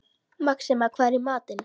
Maxima, hvað er í matinn?